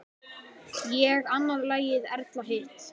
Ég annað lagið, Erla hitt!